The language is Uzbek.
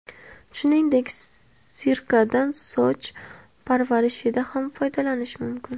Shuningdek, sirkadan soch parvarishida ham foydalanish mumkin.